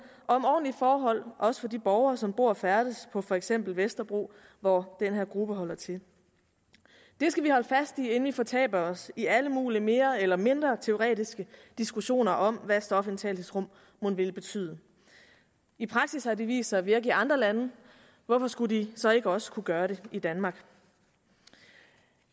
og om ordentlige forhold også for de borgere som bor og færdes på for eksempel vesterbro hvor den her gruppe holder til det skal vi holde fast i inden vi fortaber os i alle mulige mere eller mindre teoretiske diskussioner om hvad stofindtagelsesrum mon vil betyde i praksis har de vist sig at virke i andre lande hvorfor skulle de så ikke også kunne gøre det i danmark